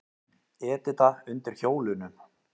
Edita undir hjólunum.